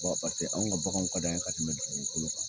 Paseke an ka bagan ka di an ye ka tɛmɛ dugukolo kan.